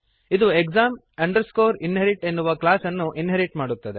ಇದು exam inherit ಎನ್ನುವ class ಅನ್ನು ಇನ್ಹೆರಿಟ್ ಮಾಡುತ್ತದೆ